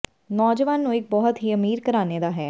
ਨੌਜਵਾਨ ਨੂੰ ਇੱਕ ਬਹੁਤ ਹੀ ਅਮੀਰ ਘਰਾਣੇ ਦਾ ਹੈ